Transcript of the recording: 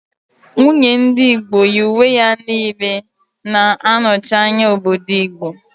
Nwunye ndị Igbo yi uwe ya niile na-anọchi anya obodo Igbo